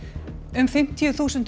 um fimmtíu þúsund